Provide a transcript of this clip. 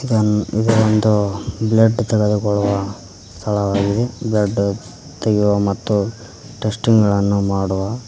ಇನ್ ಇದು ಒಂದು ಬ್ಲಡ್ ತೆಗೆದುಕೊಳ್ಳುವ ಸ್ಥಳವಾಗಿದೆ ಬ್ಲಡ್ ತೆಗೆಯುವ ಮತ್ತು ಟೆಸ್ಟಿಂಗ್ ಗಳನ್ನು ಮಾಡುವ--